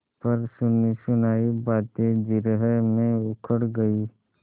पर सुनीसुनायी बातें जिरह में उखड़ गयीं